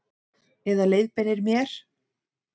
Eða leiðbeinir mér.